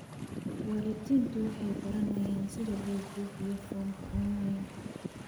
Waalidiintu waxay baranayaan sida loo buuxiyo foomka onlayn.